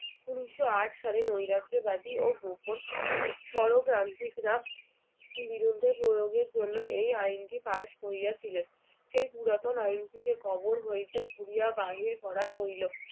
উনিশশো আট সালে নৈরাজ্যবাদী ও গোপন সরক্রান্তিকরা বিরুদ্ধে প্রয়োগের জন্য এই আইনটি pass করিয়াছিলেন সেই পুরাতন আইনটিকে কবর হইতে খুড়িয়া বাহির করা হইল